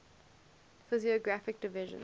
physiographic divisions